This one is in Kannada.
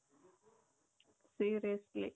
seriously